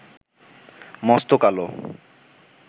মস্ত কালো